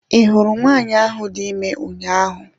I hụrụ nwanyị ahụ dị ime ụnyaahụ?